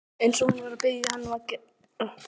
Eins og hún var að biðja hann að gera.